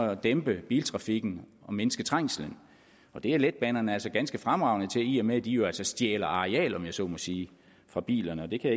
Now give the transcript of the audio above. at dæmpe biltrafikken og mindske trængslen og det er letbanerne altså ganske fremragende til i og med at de jo stjæler areal om jeg så må sige fra bilerne det kan